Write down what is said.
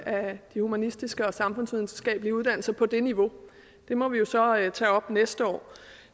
af de humanistiske og samfundsvidenskabelige uddannelser på det niveau det må vi jo så tage op næste år